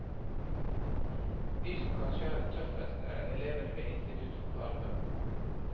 De som kanskje har det tøffest, er elevene ved institutt for farve.